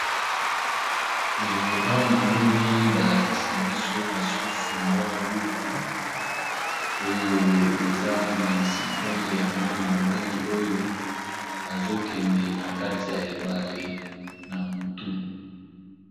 Awa na moni balakisi biso lisusu mwa buku oyo eza na lisitwale ya mwana-mobali oyo azokende na kati ya ebale na butu.